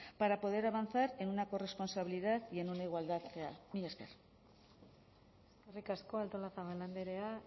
para poder avanzar en una corresponsabilidad y en una igualdad real mila esker eskerrik asko artolazabal andrea